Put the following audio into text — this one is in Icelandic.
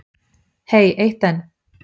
Hey eitt enn.